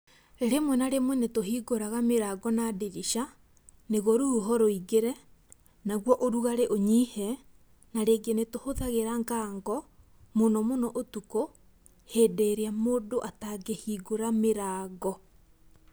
Rĩmwe na rĩmwe nĩtũhingũraga mĩrango na ndirica, nĩguo rũhuho rũingĩre, naguo ũrugarĩ ũnyihe, na rĩngĩ nĩtũhũthagĩra ngango, mũno mũno ũtukũ, hĩndĩ ĩrĩa mũndũ atangĩhingũra mĩrango.